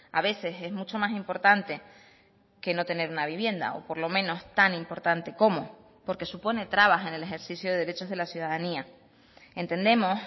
a veces es mucho más importante que no tener una vivienda o por lo menos tan importante como porque supone trabas en el ejercicio de derechos de la ciudadanía entendemos